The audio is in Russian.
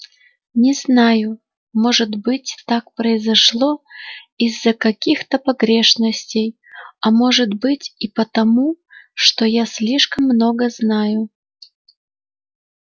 не знаю может быть так произошло из-за каких-то погрешностей а может быть и потому что я слишком много знаю